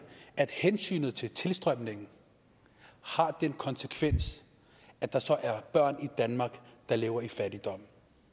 at hensynet til tilstrømning har den konsekvens at der så er børn i danmark der lever i fattigdom